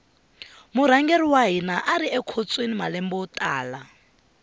murhangeri wa hina ari ekhotsweni malembe yo tala